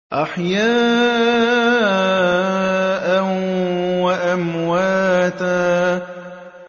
أَحْيَاءً وَأَمْوَاتًا